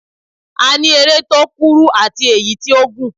A ní eré tó kúrú àti èyí tí ó gùn.